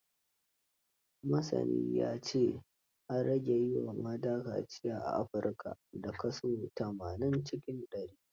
Masanin ya ce, an rage yi wa mata kaciya a Afrika, da kaso tamanin cikin ɗari.